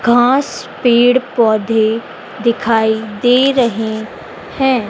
घास पेड़ पौधे दिखाई दे रहे हैं।